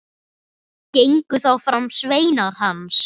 Gengu þá fram sveinar hans.